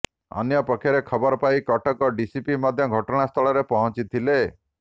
ଅନ୍ୟପକ୍ଷରେ ଖବର ପାଇ କଟକ ଡିସିପି ମଧ୍ୟ ଘଟଣାସ୍ଥଳରେ ପହଞ୍ଚିଥିଲେ